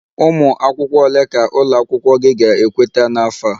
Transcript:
Ụmụ akwụkwọ ole ka ụlọ akwụkwọ gị ga-ekweta n'afọ a?